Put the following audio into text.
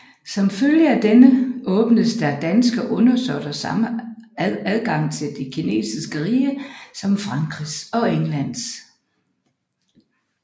Som følge af denne åbnedes der danske undersåtter samme adgang til det kinesiske rige som Frankrigs og Englands